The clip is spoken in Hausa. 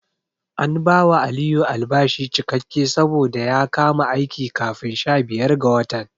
An bawa Aliyu albashi cikakke saboda ya kama aiki kafin sha biyar ga watan.